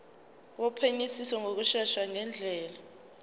wophenyisiso ngokushesha ngendlela